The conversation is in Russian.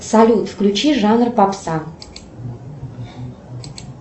салют включи жанр попса